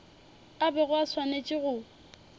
a bego a swanetše go